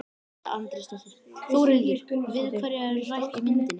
Edda Andrésdóttir: Þórhildur, við hverja er rætt í myndinni?